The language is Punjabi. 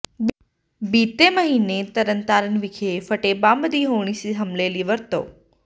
ਬੀਤੇ ਮਹੀਨੇ ਤਰਨ ਤਾਰਨ ਵਿਖੇ ਫਟੇ ਬੰਬ ਦੀ ਹੋਣੀ ਸੀ ਹਮਲੇ ਲਈ ਵਰਤੋਂ